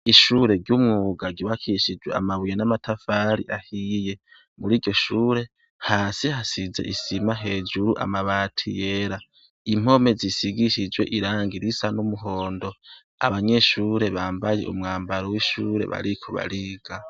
Ishure ryumwuga ryubakishijwe amabuye namatafari ahiye muri iryoshure hasi hasize isima hejuru amabati yera impome zisigishijwe irangi risa numuhondo abanyeshure bambaye umwambaro wishure bariko bariga